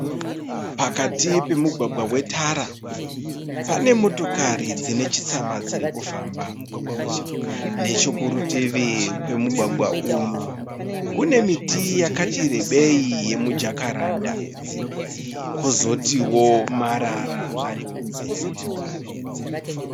Pakati pomugwagwa wetara. Pane motokari dzinechitsama dzirikufamba. Nechekurutivi kwemugwagwa uyu kune miti yakati rebei yemijakaranda kwozotiwo marara arikunze kwemugwagwa uyu.